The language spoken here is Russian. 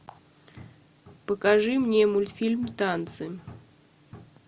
покажи мне мультфильм танцы